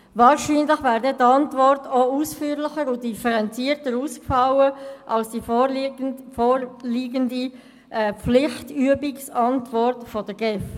Wahrscheinlich wäre dann die Antwort auch ausführlicher und differenzierter ausgefallen als die vorliegende Pflichtübungsantwort der GEF.